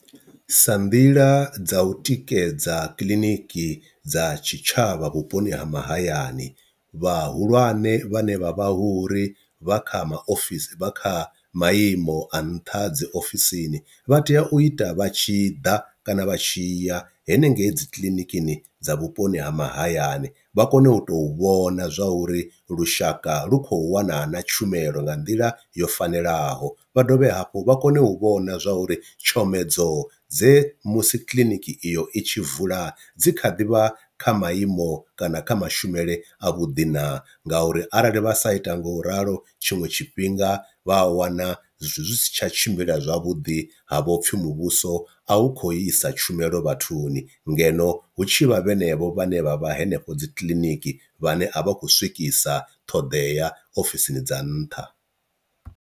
Sa nḓila dza u tikedza kiḽiniki dza tshitshavha vhuponi ha mahayani, vhahulwane vhane vha vha hu ri vha kha ma ofisi vha kha maimo a nṱha dzi ofisini vha tea u ita vha tshi ḓa kana vha tshi ya henengei dzi kiḽinikini dza vhuponi ha mahayani vha kone u tou vhona zwa uri lushaka lu khou wana na tshumelo nga nḓila yo fanelaho, vha dovhe hafhu vha kone u vhona zwa uri tshomedzo dze musi kiḽiniki iyo i tshi vula dzi kha ḓi vha kha maiimo kana kha mashumele a vhuḓi na, nga uri arali vha sa ita nga u ralo tshiṅwe tshifhinga vha a wana zwithu zwi si tsha tshimbila zwavhuḓi ha vho pfhi muvhuso a hu kho isa tshumelo vhathuni ngeno hu tshivha vhenevho vhane vha vha henefho dzi kiḽiniki vhane a vha khou swikisa ṱhoḓea ofisini dza nṱha.